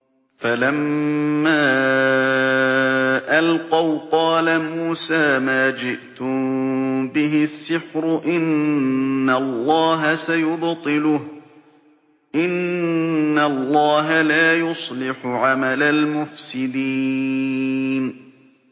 فَلَمَّا أَلْقَوْا قَالَ مُوسَىٰ مَا جِئْتُم بِهِ السِّحْرُ ۖ إِنَّ اللَّهَ سَيُبْطِلُهُ ۖ إِنَّ اللَّهَ لَا يُصْلِحُ عَمَلَ الْمُفْسِدِينَ